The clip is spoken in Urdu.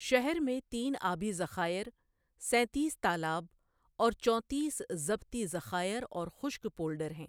شہر میں تین آبی ذخائر، سینتیس تالاب، اور چونتیس ضبطی ذخائر اور خشک پولڈر ہیں۔